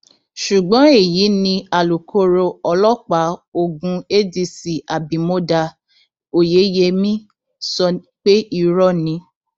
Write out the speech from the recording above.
ṣùgbọn gbogbo èyí ni alūkkoro ọlọpàá ogun adc abimodá oyeyèmí sọ pé irọ ni